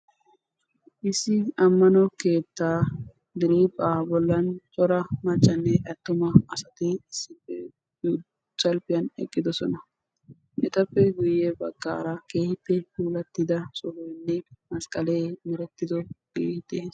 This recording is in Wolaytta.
Issi ammano keettaa diriiphpha bollan cora maccanne atumma asati issippe salppiyan eqqiddossona. Etappe guye baggaara keehippe puulattidda sohoynne masqqallee merettiddo keehippe...